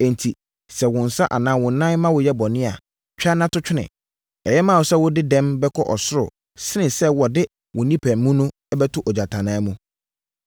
Enti, sɛ wo nsa anaa wo nan ma woyɛ bɔne a, twa na to twene. Ɛyɛ ma wo sɛ wode dɛm bɛkɔ ɔsoro sene sɛ wɔde wo onipa mu bɛto ogyatannaa mu.